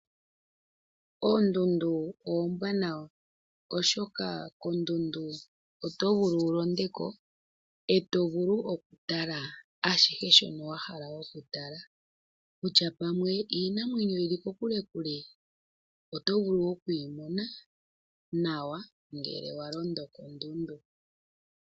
Oondundu oombwanawa, oshoka kondundu oto vulu wu londe ko ee to vulu okutala ashihe shono wahala okutala, kutya pamwe iinamwenyo yi li kokule, kule oto vulu oku yi mona nawa ngele wa londo kondundu.